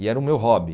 E era o meu hobby.